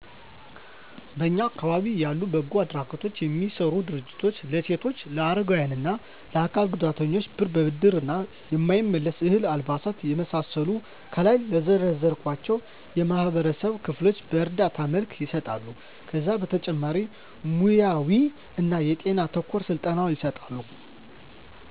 በእኛ አካባቢ ያሉ በጎ አድራጎት የሚሰሩ ድርጅቶች ለሴቶች ለአረጋዊያን እና ለአካል ጉዳተኞች ብር በብድር እና የማይመለስ፤ እህል፤ አልባሳት የመሳሰሉትን ከላይ ለዘረዘርኳቸው የማህበረሰብ ክፍሎች በእርዳታ መልክ ይሰጣሉ። ከዚህ በተጨማሪ ሙያውይ እና ጤና ተኮር ስልጠና ይሰጣሉ።